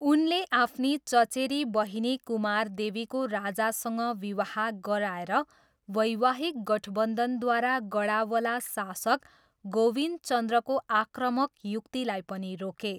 उनले आफ्नी चचेरी बहिनी कुमारदेवीको राजासँग विवाह गराएर वैवाहिक गठबन्धनद्वारा गडावला शासक गोविन्दचन्द्रको आक्रामक युक्तिलाई पनि रोके।